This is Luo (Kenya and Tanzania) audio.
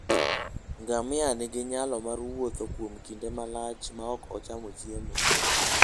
Ngamia nigi nyalo mar wuotho kuom kinde malach maok ochando chiemo.